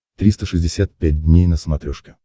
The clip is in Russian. триста шестьдесят пять дней на смотрешке